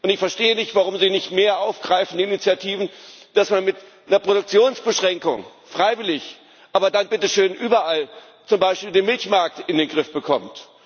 Ich verstehe nicht, warum Sie nicht mehr Initiativen aufgreifen, dass man mit einer Produktionsbeschränkung freiwillig, aber dann, bitte schön, überall zum Beispiel den Milchmarkt in den Griff bekommt.